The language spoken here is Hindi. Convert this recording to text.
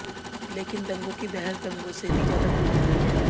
लेकिन दंगों की बहस दंगों से भी ज्यादा क्रूर हो गई है